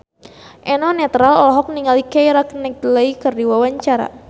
Eno Netral olohok ningali Keira Knightley keur diwawancara